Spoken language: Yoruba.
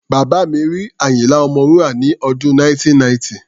Bàbá mi rí Àyínlá Ọmọwúrà ní ọdún 1990.